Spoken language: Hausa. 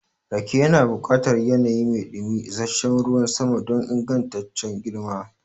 Rake yana buƙatar yanayi mai dumi da isasshen ruwan sama don ingantaccen girma.